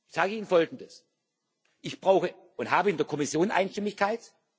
Ich sage Ihnen Folgendes Ich brauche und habe in der Kommission Einstimmigkeit.